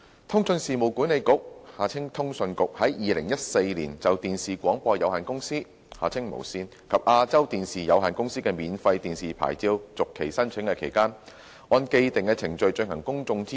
通訊事務管理局於2014年就電視廣播有限公司及亞洲電視有限公司的免費電視牌照續期申請，按既定程序進行公眾諮詢。